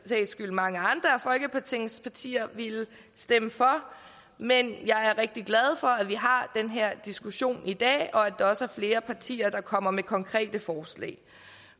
skyld mange andre af folketingets partier ville stemme for men jeg er rigtig glad for at vi har den her diskussion i dag og at der også flere partier der kommer med konkrete forslag